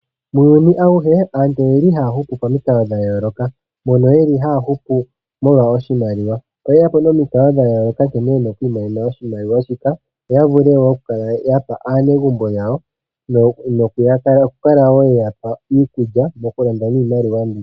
Muuyuni auhe aantu oyeli haya hupu pamikalo dhayoloka mono yeli haya hupu molwa oshimaliwa. Oye yapo momikalo dhayoloka nkene yena okwiimonena oshimaliwa shika opo yavulu okukala yapa aanaegumbo yawo no kukala wo yeyapa iikulya mokulanda miimaliwa mbii.